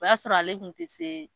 O y'a sɔrɔ ale kun ti se